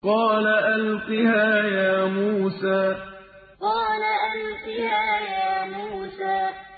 قَالَ أَلْقِهَا يَا مُوسَىٰ قَالَ أَلْقِهَا يَا مُوسَىٰ